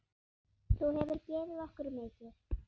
Þú hefur gefið okkur mikið.